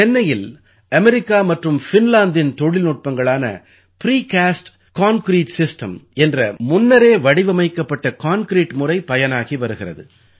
சென்னையில் அமெரிக்கா மற்றும் ஃபின்லாந்தின் தொழில்நுட்பங்களான பிரிகாஸ்ட் கான்கிரீட் சிஸ்டம் என்ற முன்னரே வடிவமைக்கப்பட்ட கான்கிரீட் முறை பயனாகி வருகிறது